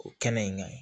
O kɛnɛ in ka ɲi